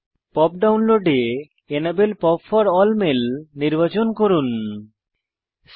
pop ডাউনলোডে enable POP for A L L mail নির্বাচন করেছি